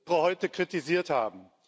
heute kritisiert haben.